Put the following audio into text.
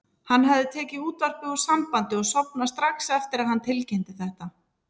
Hann hafði tekið útvarpið úr sambandi og sofnað strax eftir að hann tilkynnti þetta.